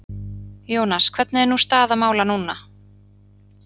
Jónas, hvernig er nú staða mála núna?